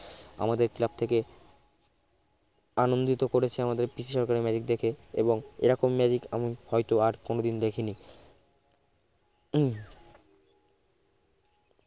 আমাদের club থেকে আনন্দিত করেছে আমাদের পিসি সরকারের magic দেখে এবং এরকম magic আমি হয়তো আর কোনদিন দেখিনি হম